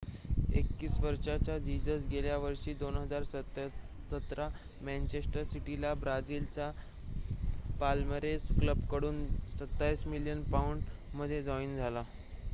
21 वर्षाचा जीजस गेल्या वर्षी 2017 मॅंचेस्टर सिटीला ब्राजीलच्या पाल्मेरास क्लबकडून 27 मिलियन पाउंड मध्ये जॉइन झाला